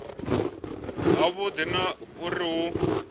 ha vhudi na uri hu